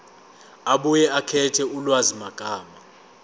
abuye akhethe ulwazimagama